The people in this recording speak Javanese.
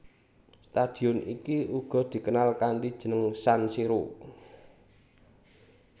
Stadion iki uga dikenal kanthi jeneng San Siro